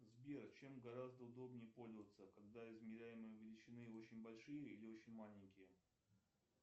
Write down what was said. сбер чем гораздо удобнее пользоваться когда измеряемые величины очень большие или очень маленькие